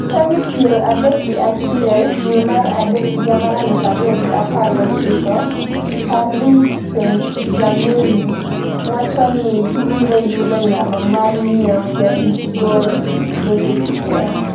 tarik piero adek gi achiel dwe mar adek higa mar aluf ariyo gi apar gochiko Paris St-Germain wacho ni gibiro yudo nyalo mar nyiewo jarit gol David de Gea